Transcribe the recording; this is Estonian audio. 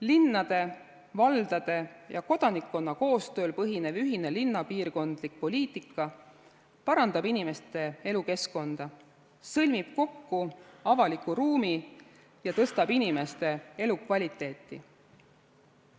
Linnade, valdade ja kodanikkonna koostööl põhinev ühine linnapiirkondlik poliitika parandab inimeste elukeskkonda, sõlmib kokku avaliku ruumi ning parandab inimeste elukvaliteeti.